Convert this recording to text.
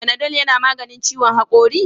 Panadol yana maganin ciwon hakori?